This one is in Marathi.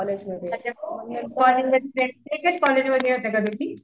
अच्छा कॉलेजमध्ये एकाच कॉलेजमध्ये होता का तुम्ही?